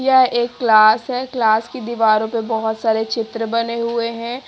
यह एक क्लास है। क्लास की दीवारों पर बहोत सारे चित्र बने हुए हैं।